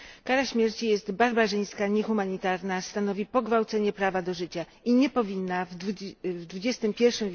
Kara śmierci jest barbarzyńska, niehumanitarna, stanowi pogwałcenie prawa do życia i nie powinna w XXI w.